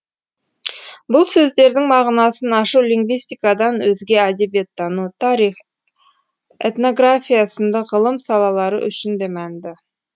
бұл сөздердің мағынасын ашу лингвистикадан өзге әдебиеттану тарих этнография сынды ғылым салалары үшін де мәнді